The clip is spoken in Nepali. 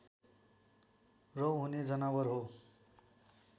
रौँ हुने जनावर हो